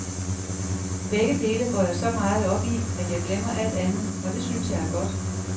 Begge dele går jeg så meget op i, at jeg glemmer alt andet, og det synes jeg er godt.